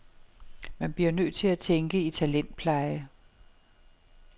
Man bliver nødt til at tænke i talentpleje.